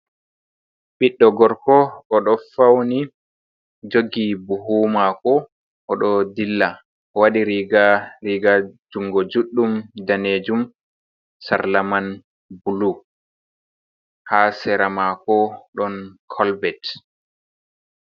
Ɓiɗɗo gorko, o do fauni jogi buhu mako o ɗo dilla o waɗi riga riga jungo juɗɗum danejum, sarlaman bulu ha sera mako ɗon kolbet.